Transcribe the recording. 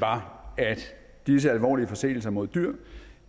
var at disse alvorlige forseelser mod dyr